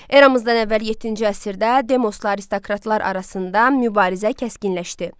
Eramızdan əvvəl yeddinci əsrdə demosla aristokratlar arasında mübarizə kəskinləşdi.